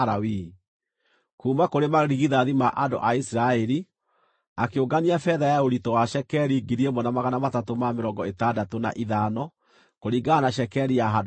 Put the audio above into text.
Kuuma kũrĩ marigithathi ma andũ a Isiraeli, akĩũngania betha ya ũritũ wa cekeri 1,365 kũringana na cekeri ya handũ-harĩa-haamũre.